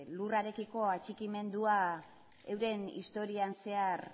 lurrarekiko atxikimendua euren historian zehar